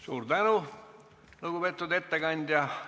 Suur tänu, lugupeetud ettekandja!